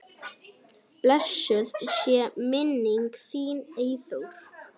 Blessuð sé minning þín, Eyþór.